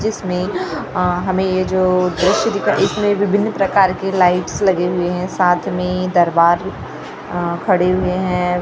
जिसमें अ हमें ये जो दृश्य दिख इसमें विभिन्न प्रकार के लाइट्स लगे हुए हैं साथ में दरबार अ खड़े हुए हैं।